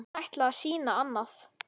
Hún ætlaði að sýna annað.